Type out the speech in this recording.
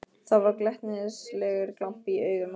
Það var glettnislegur glampi í augunum á henni.